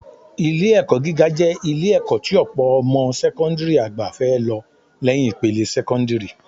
Ilé-ẹ̀kọ́ gíga jẹ́ Ilé-ẹ̀kọ́ tí ọ̀pọ̀ ọmọ sẹ́kọ́ńdìrì àgbà fẹ́ lọ lẹ́yìn ìpele sẹ́kọ́ńdìrì